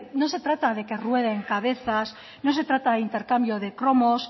no se trata de que rueden cabezas no se trata de intercambio de cromos